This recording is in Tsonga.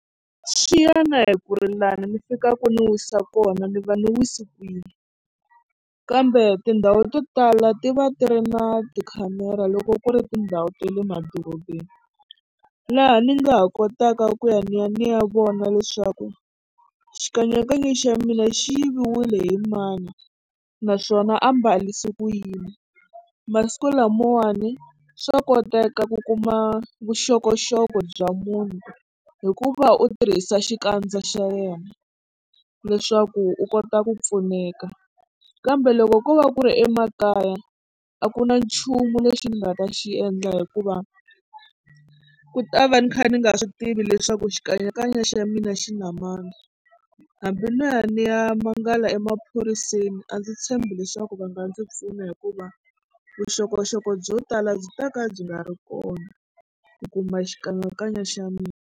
Swi ya na hi ku ri lani ni fikaka ni wisa kona ni va ni wisi kwihi kambe tindhawu to tala ti va ti ri na tikhamera loko ku ri tindhawu ta le madorobeni laha ni nga ha kotaka ku ya ni ya ni ya vona leswaku xikanyakanya xa mina xi yiviwile hi mani naswona a mbarisa ku yini. Masikulamawani swa koteka ku kuma vuxokoxoko bya munhu hikuva u tirhisa xikandza xa yena leswaku u kota ku pfuneka kambe loko ko va ku ri emakaya a ku na nchumu lexi ni nga ta xi endla hikuva ku ta va ni kha ni nga swi tivi leswaku xikanyakanya xa mina xi na mani hambi no ya ni ya mangala emaphoriseni a ndzi tshembi leswaku va nga ndzi pfuna hikuva vuxokoxoko byo tala byi ta ka byi nga ri kona ku kuma xikanyakanya xa mina.